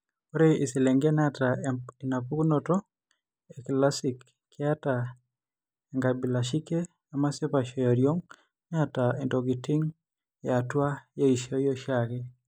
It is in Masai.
Ore iselengen naata enapukunoto ekilasic keeta enkabilashike emasipaisho eoriong' neeta intokiting' eatua eishioi eaoshiake.